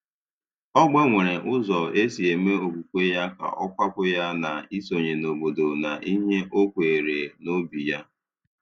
Ọ gbanwere ụzọ o si eme okwukwe ya ka ọ kwàpụ̀ ya na isonye n’obodo na ihe ọ kweere n’obí ya.